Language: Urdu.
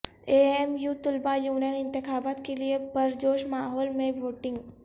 اے ایم یو طلبہ یونین انتخابات کیلئے پرجوش ماحول میں ووٹنگ